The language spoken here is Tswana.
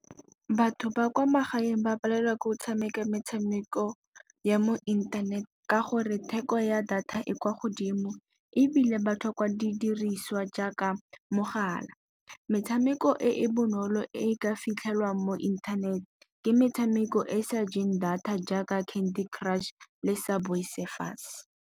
Batho ba kwa magaeng ba palelwa ke go tshameka metshameko ya mo inthanete, ka gore theko ya data e kwa godimo ebile ba tlhoka didiriswa jaaka mogala. Metshameko e e bonolo e ka fitlhelwang mo inthanete ke metshameko e e sa jeng data jaaka Candy Crush le Subway Surfers.